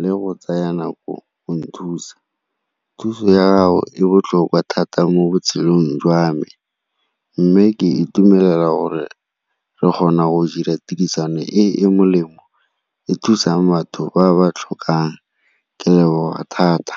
le go tsaya nako go nthusa. Thuso ya gago e botlhokwa thata mo botshelong jwa me mme ke itumelela gore re kgona go dira tirisano e e molemo, e thusang batho ba ba tlhokang, ke leboga thata.